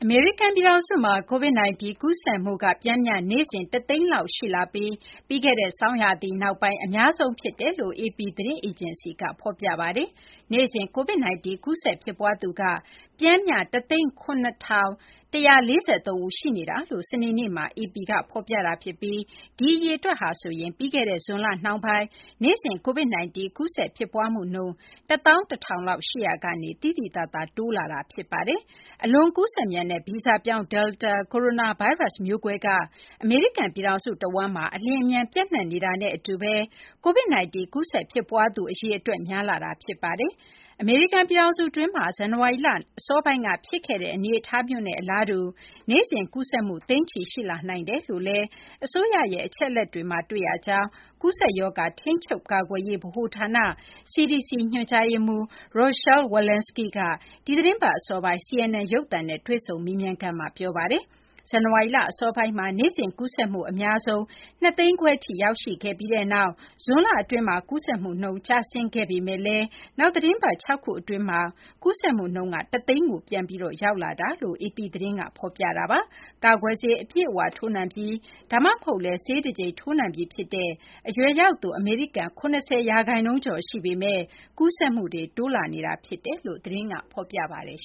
မေရိကန် ပြည်ထောင်စုမှာ Covid-19 ကူးစက်မှုက ပျမ်းမျှ နေ့စဉ် ၁၀၀,၀၀၀ လောက် ရှိလာပြီး ပြီးခဲ့တဲ့ ဆောင်းရာသီနောက်ပိုင်း အများဆုံးဖြစ်ကြောင်း AP သတင်းအေဂျင်စီက ဖော်ပြပါတယ်။ နေ့စဉ် Covid-19 ကူးစက် ဖြစ်ပွားသူက ပျမ်းမျှ ၁၀၇,၁၄၃ ရှိနေကြောင်း စနေနေ့မှာ AP က သတင်းဖော်ပြတာ ဖြစ်ပြီး ဒီအရေအတွက်ဟာဆိုရင် ပြီးခဲ့တဲ့ ဇွန်လ နှောင်းပိုင်းမှာ နေ့စဉ် Covid-19 ကူးစက် ဖြစ်ပွားမှုနှုန်း ၁၁,၀၀၀ လောက် ရှိရာကနေ သိသိသာသာ များလာတာ ဖြစ်ပါတယ်။ အလွန် ကူးစက်မြန်တဲ့ ဗီဇပြောင်း Delta ကိုရိုနာဗိုင်းရပ်စ် မျိုးကွဲက အမေရိကန် ပြည်ထောင်စု တဝန်းမှာ အလျင်အမြန် ပျံ့နှံ့နေတာနဲ့အတူဘဲ Covid-19 ကူးစက် ဖြစ်ပွားသူ အရေအတွက် များလာတာ ဖြစ်ပါတယ်။ အမေရိကန် ပြည်ထောင်စု အတွင်းမှာ ဇန်နဝါရီလ အစောပိုင်းက ဖြစ်ပွားခဲ့တဲ့ အနေအထားမျိုးနဲ့ အလားတူ နေ့စဉ် ကူးစက်မှု သိန်းချီ ရှိလာနိုင်ကြောင်း အစိုးရရဲ့ အချက်အလက်တွေမှာ တွေ့ရကြောင်း ထိန်းချုပ်ကာကွယ်ရေး ဗဟိုဌာန CDC ညွှန်ကြားရေးမှူး Rochelle Walensky က ဒီသီတင်းပတ် အစောပိုင်း CNN ရုပ်သံနဲ့ တွေ့ဆုံမေးမြန်းခန်းမှာ ပြောဆိုထားပါတယ်။ ဇန်နဝါရီလ အစောပိုင်းမှာ နေ့စဉ် ကူးစက်မှု အများဆုံး ၂၅၀,၀၀၀ ထိ ရောက်ရှိခဲ့ပြီးနောက် ဇွန်လ အတွင်းမှာ ကူးစက်မှုနှုန်း ကျဆင်းခဲ့ပေမယ့်လည်း နောက် သီတင်းပတ် ၆ ခု အတွင်း ကူးစက်မှုနှုန်းက ၁၀၀,၀၀၀ ကို ပြန်ပြီး ရောက်ရှိလာကြောင်း AP သတင်းက ဖော်ပြပါတယ်။ ကာကွယ်ဆေး အပြည့်အ၀ ထိုးနှံပြီး ဒါမှမဟုတ်လည်း ဆေးတကြိမ် ထိုးနှံပြီးဖြစ်တဲ့ အရွယ်ရောက်သူ အမေရိကန် ၇၀ ရာခိုင်နှုန်းကျော် ရှိနေပေမဲ့ ကူးစက်မှုတွေ တိုးလာနေတာ ဖြစ်ကြောင်း သတင်းက ဖော်ပြပါတယ်